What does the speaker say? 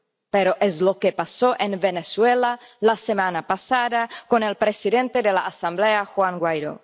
pero es lo que pasó en Venezuela la semana pasada con el presidente de la Asamblea, Juan Guaidó.